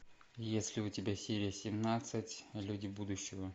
есть ли у тебя серия семнадцать люди будущего